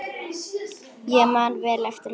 Ég man vel eftir honum.